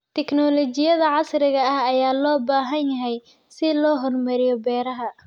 Tignoolajiyada casriga ah ayaa loo baahan yahay si loo horumariyo beeraha.